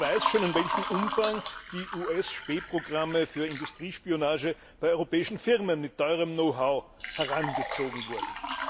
Wer weiß schon, in welchem Umfang US Spähprogramme für Industriespionage bei europäischen Firmen mit teurem Know how herangezogen wurden.